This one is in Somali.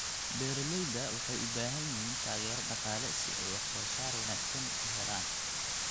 Beeralayda waxay u baahan yihiin taageero dhaqaale si ay wax soo saar wanaagsan u helaan.